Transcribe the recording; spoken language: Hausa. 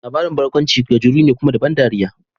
Labarin barkaunci gajeru ne, kuma da ban dariya.